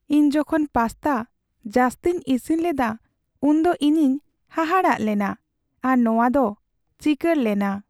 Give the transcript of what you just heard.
ᱤᱧ ᱡᱚᱠᱷᱚᱱ ᱯᱟᱥᱛᱟ ᱡᱟᱹᱥᱛᱤᱧ ᱤᱥᱤᱱ ᱞᱮᱫᱟ ᱩᱱᱫᱚ ᱤᱧᱤᱧ ᱦᱟᱦᱟᱲᱟᱜ ᱞᱮᱱᱟ ᱟᱨ ᱱᱚᱶᱟ ᱫᱚ ᱪᱤᱠᱟᱹᱲ ᱞᱮᱱᱟ ᱾